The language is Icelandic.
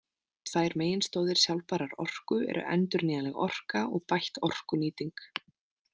Tvær meginstoðir sjálfbærrar orku eru endurnýjanleg orka og bætt orkunýting.